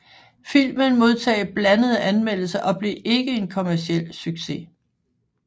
Filmen modtog blandede anmeldelser og blev ikke en kommerciel succes